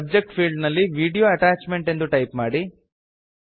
subject field ನಲ್ಲಿ video attachment ಎಂದು type ಮಾಡಿ